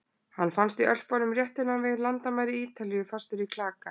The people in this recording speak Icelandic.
Hann fannst í Ölpunum rétt innan við landamæri Ítalíu, fastur í klaka.